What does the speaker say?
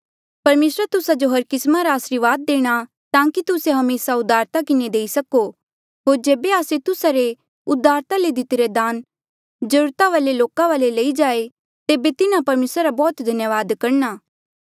परमेसरा तुस्सा जो हर किस्मा रा आसरीवाद देणा ताकि तुस्से हमेसा उदारता किन्हें देई सको होर जेबे आस्से तुस्सा रे उदारता ले दितिरे दान जरूरता वाले लोका वाले लेई जाये तेबे तिन्हा परमेसरा रा बौह्त धन्यावाद करणा